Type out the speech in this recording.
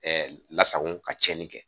Ɛɛ lasago ka tiɲɛni kɛ